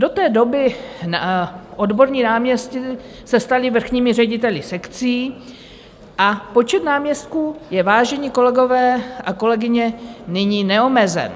Do té doby odborní náměstci se stali vrchními řediteli sekcí a počet náměstků je, vážení kolegové a kolegyně, nyní neomezen.